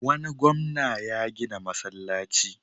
Wani gwamna ya gina masallaci.